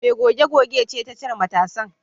Mai goge gogen ce ta cire matasan